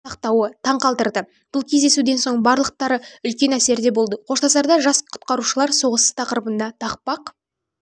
сақтауы таңқалдырды бұл кездесуден соң барлықтары үлкен әсерде болды қоштасарда жас құтқарушылар соғыс тақырыбына тақпақ